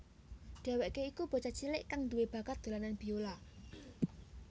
Dhèwèké iku bocah cilik kang duwé bakat dolanan biola